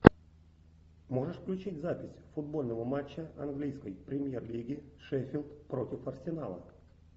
можешь включить запись футбольного матча английской премьер лиги шеффилд против арсенала